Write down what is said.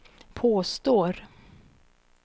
påstår